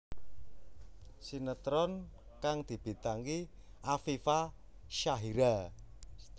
Sinetron kang dibintangi Afifa Syahira